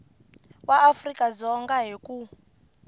wa afrika dzonga hi ku